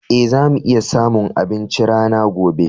Ee, za mu iya samun abinci rana gobe.